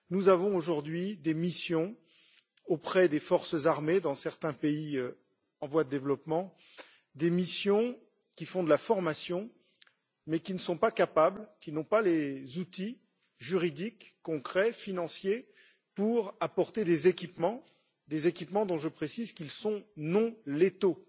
Nous avons aujourd'hui des missions auprès des forces armées dans certains pays en voie de développement, des missions qui font de la formation, mais qui ne sont pas en mesure, qui n'ont pas les outils juridiques, concrets, financiers pour apporter des équipements dont je précise qu'ils sont non létaux